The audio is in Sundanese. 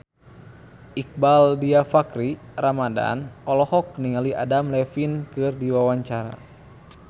Iqbaal Dhiafakhri Ramadhan olohok ningali Adam Levine keur diwawancara